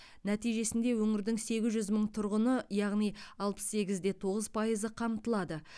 нәтижесінде өңірдің сегіз жүз мың тұрғыны яғни алпыс сегіз де тоғыз пайызы қамтылады